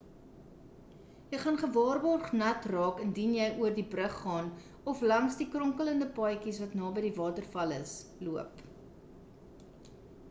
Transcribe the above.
jy gaan gewaarborgd nat raak indien jy oor die brug gaan of langs die kronkelende paadjies wat naby die waterval is loop